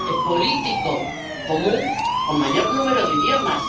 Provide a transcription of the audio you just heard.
político común con mayor número de idiomas.